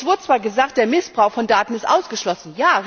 Es wurde zwar gesagt, der Missbrauch von Daten ist ausgeschlossen.